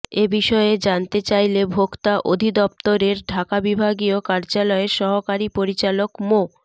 এ বিষয়ে জানতে চাইলে ভোক্তা অধিদফতরের ঢাকা বিভাগীয় কার্যালয়ের সহকারী পরিচালক মো